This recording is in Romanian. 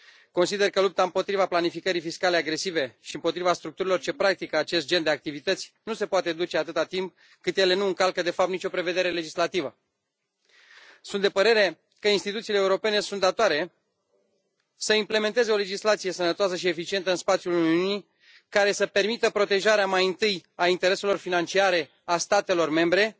Consider că lupta împotriva planificării fiscale agresive și împotriva structurilor ce practică acest gen de activități nu se poate duce atâta timp cât ele nu încalcă de fapt nicio prevedere legislativă. Sunt de părere că instituțiile europene sunt datoare să implementeze o legislație sănătoasă și eficientă în spațiul Uniunii, care să permită protejarea mai întâi a intereselor financiare a statelor membre